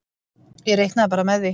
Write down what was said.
Ég reiknaði bara með því.